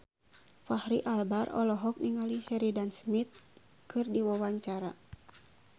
Fachri Albar olohok ningali Sheridan Smith keur diwawancara